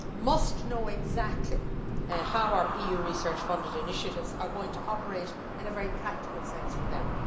must know exactly how our EU research funded initiatives are going to operate in a very practical sense for them.